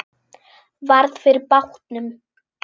Varð fyrir bátnum.